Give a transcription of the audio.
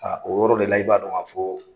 A o yɔrɔ de la i b'a dɔn a fɔ.